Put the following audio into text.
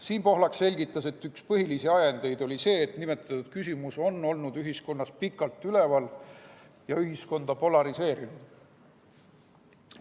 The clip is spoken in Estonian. Siim Pohlak selgitas, et üks põhilisi ajendeid oli see, et nimetatud küsimus on olnud ühiskonnas pikalt üleval ja ühiskonda polariseerinud.